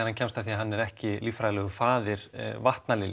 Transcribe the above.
hann kemst að því að hann er ekki lífræðilegur faðir